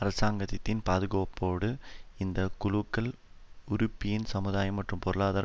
அரசாங்கத்தின் பாதுகாப்போடு இந்த குழுக்கள் உறிபியின் சமுதாய மற்றும் பொருளாதார